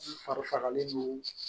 U fari fagalen do